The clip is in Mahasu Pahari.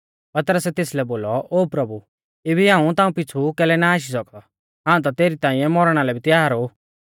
पतरसै तेसलै बोलौ ओ प्रभु इबी हाऊं ताऊं पिछ़ु कैलै ना आशी सौकदौ हाऊं ता तेरी ताइंऐ मौरणा लै भी त्यार ऊ